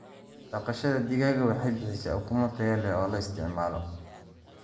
Dhaqashada digaaga waxay bixisaa ukumo tayo leh oo la isticmaalo.